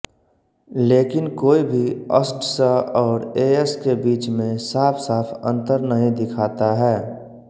लकिन कोई भी अस्ड्स और एएस के बीच में साफ़साफ़ अंतर नहीं दिखाता है